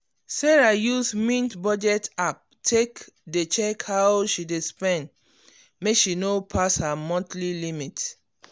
sarah use mint budget app take dey check how she dey spend make she no pass her monthly limit.